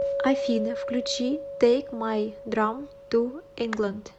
афина включи тэйк май драм ту инглэнд